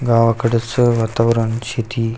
गावाकडच वातावरण ची ती--